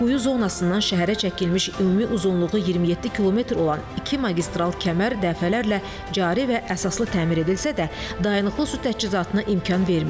Quyu zonasından şəhərə çəkilmiş ümumi uzunluğu 27 kilometr olan iki magistral kəmər dəfələrlə cari və əsaslı təmir edilsə də, dayanıqlı su təchizatına imkan vermirdi.